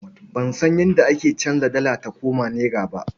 Ban san yadda ake canza dala ta koma nera ba.